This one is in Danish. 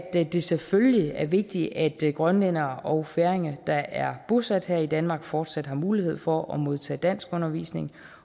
det selvfølgelig er vigtigt at grønlændere og færinger der er bosat her i danmark fortsat har mulighed for at modtage danskundervisning